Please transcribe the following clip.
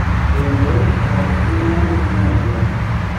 Kendo, ok inyal nyiewo rieko.